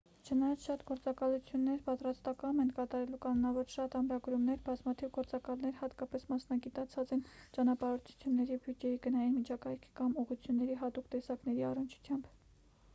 չնայած շատ գործակալություններ պատրաստակամ են կատարելու կանոնավոր շատ ամրագրումներ բազմաթիվ գործակալներ հատկապես մասնագիտացած են ճանապարհորդությունների բյուջեի գնային միջակայքի կամ ուղղությունների հատուկ տեսակների առնչությամբ